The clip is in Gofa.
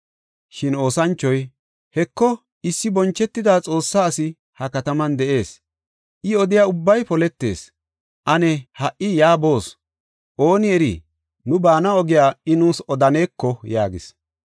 Shin oosanchoy, “Heko, issi bonchetida Xoossa asi ha kataman de7ees; I odiya ubbay poletees. Ane ha77i yaa boos; ooni eri nu baana ogiya I nuus odaneko” yaagis.